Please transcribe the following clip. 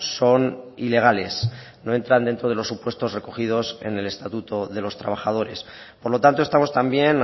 son ilegales no entran dentro de los supuestos recogidos en el estatuto de los trabajadores por lo tanto estamos también